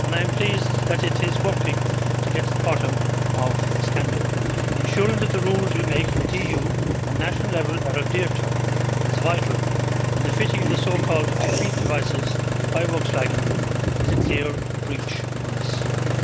I am pleased that it is working to get to the bottom of the scandal. Ensuring that the rules we make at EU and national level are adhered to is vital, and the fitting of the so called defeat devices by Volkswagen is a clear breach of those rules.